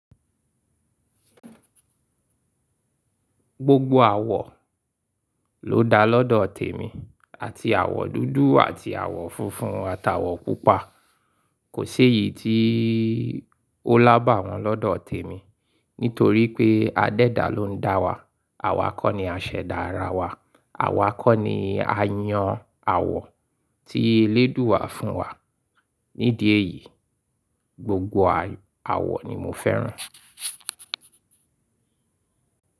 Gbogbo àwọ̀ ló da lọ́dọ̀ tèmi àti àwọ̀ dúdú àti àwọ̀ funfun atàwọ̀ pupa. Kò séyìí tí ó lábàwọ́n lọ́dọ̀ tèmi, nítorí pé adẹ́dà ló ń dá wa, àwa kọ́ ni àṣẹ̀dá ara wa, àwa kọ́ ni a yan àwọ̀ tí eléèdúa wà fún wa. Nídìí èyí, gbogbo àwọ̀ ni mo fẹ́ràn.